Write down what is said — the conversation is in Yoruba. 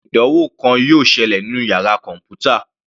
Àwọn ìdánwò kan yóò ṣẹlẹ̀ nínú yàrá kọ̀npútà.